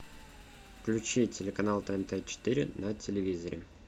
включи телеканал тнт четыре на телевизоре